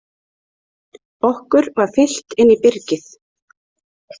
Okkur var fylgt inn í byrgið.